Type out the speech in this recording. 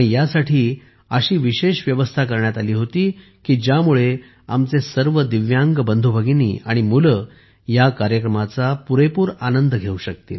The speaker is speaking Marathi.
यासाठी अशी विशेष व्यवस्था करण्यात आली होती की ज्यामुळे आमचे सर्व दिव्यांग बंधूभगिनी आणि मुले या कार्यक्रमाचा पुरेपूर आनंद घेऊ शकतील